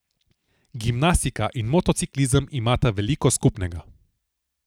Gimnastika in motociklizem imata veliko skupnega.